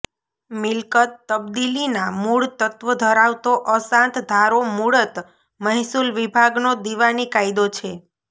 મિલકત તબદીલીના મુળ તત્વો ધરાવતો અશાંત ધારો મુળત મહેસૂલ વિભાગનો દિવાની કાયદો છે